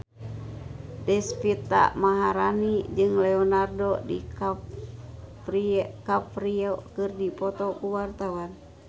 Deswita Maharani jeung Leonardo DiCaprio keur dipoto ku wartawan